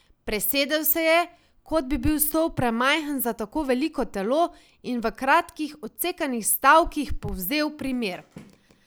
Presedal se je, kot da bi bil stol premajhen za tako veliko telo, in v kratkih, odsekanih stavkih povzel primer.